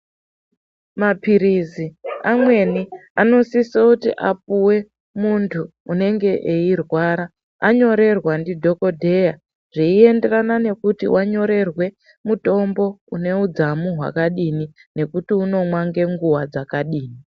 Maphirizi amweni anosiso kuti apuwe muntu unenge eirwara ,anyorerwa ndidhokodheya, zveienderana nekuti wanyorerwe mutombo une mudzamu hwakadini ,nekuti unomwa nenguwa dzakadini.